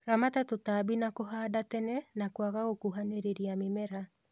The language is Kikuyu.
Ramata tũtambi na kũhanda tene na kwaga gũkuhanĩrĩlia mĩmera